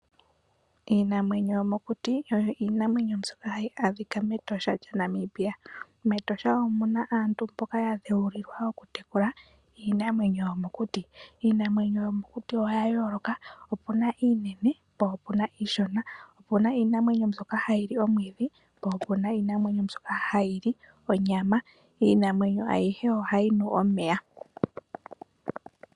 Iinamwenyo yomokuti oyo iinamwenyo mbyoka hayi adhika mEtosha lyaNamibia. MEtosha omu na aantu mboka ya dheulilwa okutekula iinamwenyo yomokuti. Iinamwenyo yomokuti oya yooloka. Opu na iinene po opu na iishona. Opu na iinamwenyo mbyoka hayi li omwiidhi, po opu na mbyoka hayi li onyama. Iinamwenyo ayihe ohayi nu omeya.